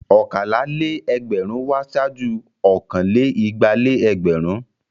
Ọ̀kàlá-lé-ẹgbẹrún wá ṣáájú ọ̀kan-lé-igba-lé-ẹgbẹ̀rún.